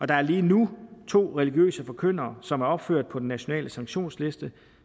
der er lige nu to religiøse forkyndere som er opført på den nationale sanktionsliste